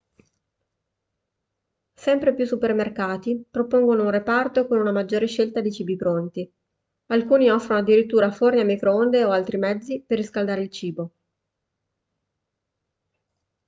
sempre più supermercati propongono un reparto con una maggiore scelta di cibi pronti alcuni offrono addirittura forni a microonde o altri mezzi per riscaldare il cibo